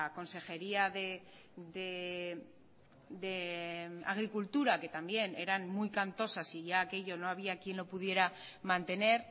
consejería de agricultura que también eran muy cantosas y ya aquello no había quien lo pudiera mantener